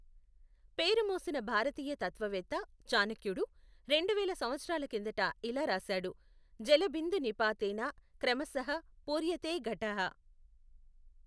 పేరు మోసిన భారతీయ తత్త్వ వేత్త చాణక్యుడు రెండు వేల సంవత్సరాల కిందట ఇలా రాశాడు, జల బిందు నిపాతేన క్రమశః పూర్యతే ఘటః।